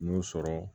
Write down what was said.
N'o sɔrɔ